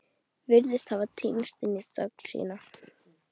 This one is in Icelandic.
Virðist hafa týnst inn í þögn sína.